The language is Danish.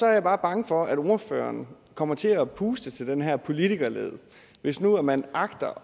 jeg er bare bange for at ordføreren kommer til at puste til den her politikerlede hvis nu man agter